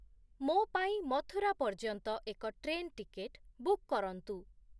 ମୋ ପାଇଁ ମଥୁରା ପର୍ଯ୍ୟନ୍ତ ଏକ ଟ୍ରେନ୍ ଟିକେଟ୍ ବୁକ୍ କରନ୍ତୁ।